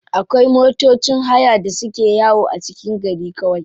Akwai matocin haya da suke yawo a cikin garin kawai.